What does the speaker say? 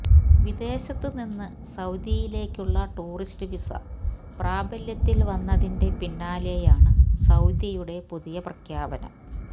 വിദേശത്ത് നിന്ന് സൌദിയിലേക്കുള്ള ടൂറിസ്റ്റ് വിസ പ്രാബല്യത്തില് വന്നതിന്റെ പിന്നാലെയാണ് സൌദിയുടെ പുതിയ പ്രഖ്യാപനം